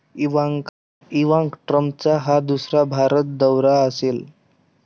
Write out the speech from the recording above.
Ivanka ट्रम्पचा हा दुसरा भारत दौरा असेल.